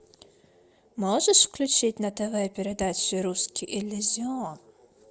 можешь включить на тв передачу русский иллюзион